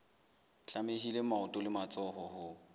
tlamehile maoto le matsoho ho